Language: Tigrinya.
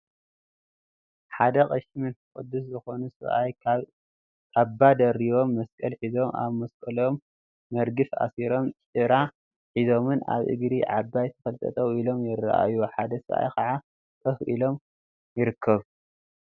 ሓደ ቐሺ መንፈስ ቅዱሰ ዝኮኑ ሰብአይ ካባ ደሪቦም መስቀል ሒዞም ፤ አብ መስቀሎም መርገፍ አሲሮምን ጭራ ሒዞምን አብ እግሪ ዓባይ ተክሊ ጠጠው ኢሎም ይርአዩ፡፡ ሓደ ሰብአይ ከዓ ኮፍ ኢሉ ይርከብ፡፡